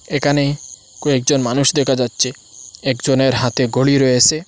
এখানে কয়েকজন মানুষ দেখা যাচ্ছে একজনের হাতে ঘড়ি রয়েসে।